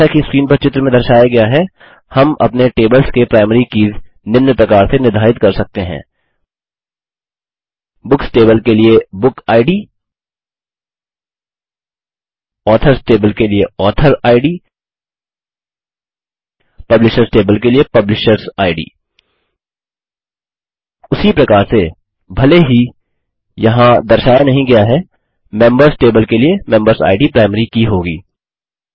जैसा कि स्क्रीन पर चित्र में दर्शाया गया है हम अपने टेबल्स के प्राइमरी कीज़ निम्न प्रकार से निर्धारित कर सकते हैं बुक्स टेबल के लिए बुकिड ऑथर्स टेबल के लिए ऑथोरिड पब्लिशर्स टेबल के लिए पुलिशर्सिड उसी प्रकार से भले ही यहाँ दर्शाया नहीं गया है मेंबर्स टेबल के लिए मेंबरसिड प्राइमरी की होगी